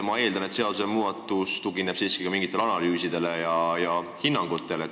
Ma eeldan, et seadusmuudatus tugineb siiski mingitele analüüsidele ja hinnangutele.